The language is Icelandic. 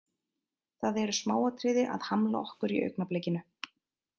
Það eru smáatriði að hamla okkur í augnablikinu.